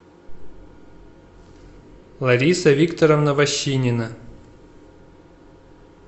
лариса викторовна вощинина